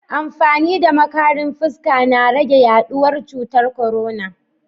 Amfani da makarin fuska na rage yaduwar cutar korona.